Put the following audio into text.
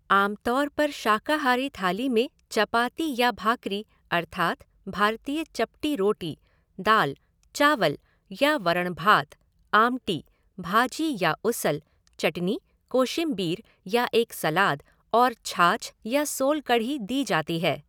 आम तौर पर शाकाहारी थाली में चपाती या भाकरी अर्थात भारतीय चपटी रोटी, दाल, चावल या वरण भात, आमटी, भाजी या उसल, चटनी, कोशीमबीर या एक सलाद और छाछ या सोल कढ़ी दी जाती है।